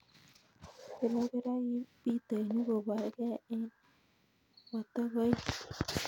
Birobir ak bitoinik koborgei en motokoik.